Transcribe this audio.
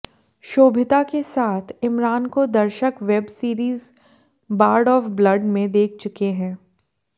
शोभिता के साथ इमरान को दर्शक web series Bard of Blood में देख चुके हैं